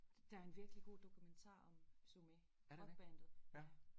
Der en virkelig god dokumentar om Sumé rock bandet ja